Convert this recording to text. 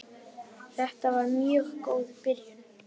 Þetta var mjög góð byrjun.